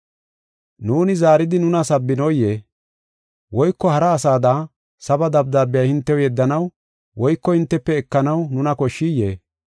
Nuuni zaaridi nuna sabbinoyee? Woyko hara asada, saba dabdaabiya hintew yeddanaw woyko hintefe ekanaw nuna koshshiyee?